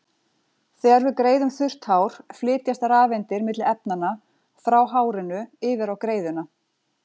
Þegar við greiðum þurrt hár flytjast rafeindir milli efnanna, frá hárinu yfir á greiðuna.